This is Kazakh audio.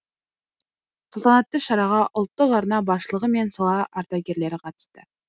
салтанатты шараға ұлттық арна басшылығы мен сала ардагерлері қатысты